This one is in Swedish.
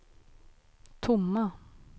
tomma